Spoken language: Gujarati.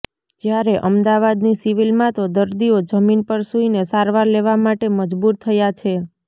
જ્યારે અમદાવાદની સિવિલમાં તો દર્દીઓ જમીન પર સુઈને સારવાર લેવા માટે મજબુર થયા છે